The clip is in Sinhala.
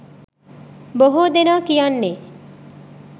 බොහෝ දෙනා කියන්නේ?